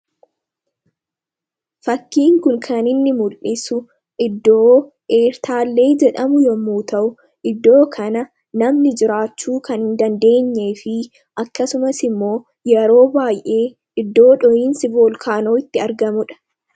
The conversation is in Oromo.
fakkiin kun kan inni mul'isu iddoo eertaallee jedhamu yommuu ta'u, iddoo kana namni jiraachuu kan hin dandeenye fi akkasumas immoo yeroo baay'ee iddoo dhoyiinsi volkaanoo itti argamudha.